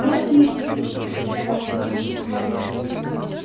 красиво почти закричал артем